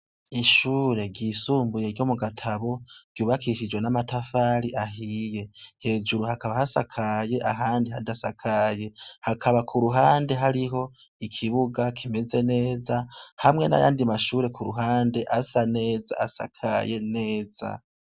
Ishure ryisumbuye ryo mu Gatabo ryubakishijwe n'amatafari ahiye. Hejuru hakaba hasakaye, ahandi hadasakaye. Hakaba ku ruhande hariho ikibuga kimeze neza hamwe n'ayandi ku ruhande asa neza asakaye neza.